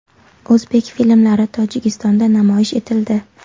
O‘zbek filmlari Tojikistonda namoyish etildi.